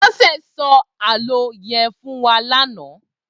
Bose sò àlõ yèn fún wà làná